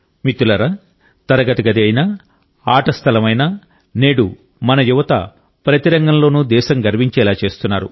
మిత్రులారా తరగతి గది అయినా ఆట స్థలం అయినా నేడు మన యువత ప్రతి రంగంలోనూ దేశం గర్వించేలా చేస్తున్నారు